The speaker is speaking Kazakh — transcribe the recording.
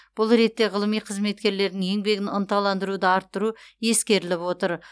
бұл ретте ғылыми қызметкерлердің еңбегін ынталандыруды арттыру ескеріліп отыр